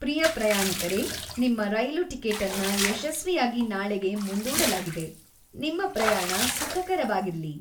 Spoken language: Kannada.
ಪ್ರಿಯ ಪ್ರಯಾಣಿಕರೇ, ನಿಮ್ಮ ರೈಲು ಟಿಕೆಟನ್ನ ಯಶಸ್ವಿಯಾಗಿ ನಾಳೆಗೆ ಮುಂದೂಡಲಾಗಿದೆ. ನಿಮ್ಮ ಪ್ರಯಾಣ ಸುಖಕರವಾಗಿರ್ಲಿ!